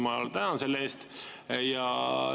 Ma tänan selle eest!